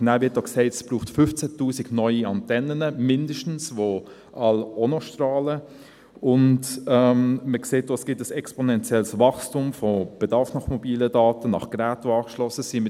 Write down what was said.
Es wird auch gesagt, es brauche mindestens 15 000 neue Antennen, die alle auch noch strahlen, und man sieht auch, dass es ein exponentielles Wachstum beim Bedarf nach mobilen Daten und nach angeschlossenen Geräten gibt.